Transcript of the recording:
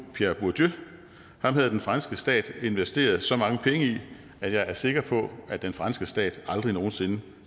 pierre bourdieu ham havde den franske stat investeret så mange penge i at jeg er sikker på at den franske stat aldrig nogen sinde